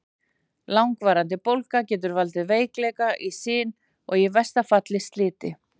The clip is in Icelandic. Langvarandi bólga getur valdið veikleika í sin og í versta falli sliti.